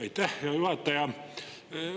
Aitäh, hea juhataja!